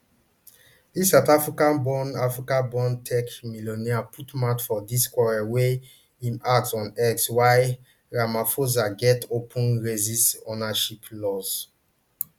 di south africaborn africaborn tech billionaire put mouth for di quarrel wen im ask on x why ramaphosa get open racist ownership laws